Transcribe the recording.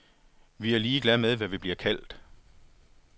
Vi er ligeglade med, hvad vi bliver kaldt.